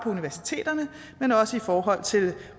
universiteterne men også i forhold til